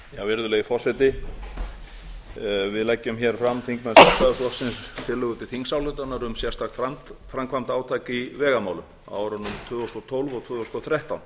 virðulegi forseti við leggjum hér fram þingmenn sjálfstæðisflokksins tillögu til þingsályktunar um sérstakt framkvæmdaátak í vegamálum á árunum tvö þúsund og tólf og tvö þúsund og þrettán